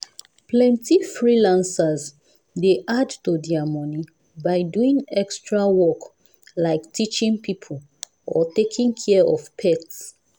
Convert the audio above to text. plenty freelancers dey add to their money by doing extra work like teaching people or taking care of pets.